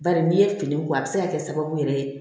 Bari n'i ye fini bɔ a bɛ se ka kɛ sababu yɛrɛ ye